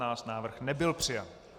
Návrh nebyl přijat.